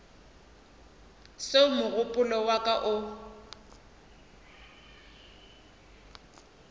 seo mogopolo wa ka o